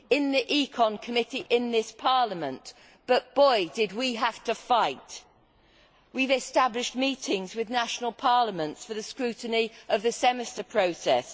In the ECON committee in this Parliament but boy, did we have to fight! We have established meetings with national parliaments for the scrutiny of the Semester process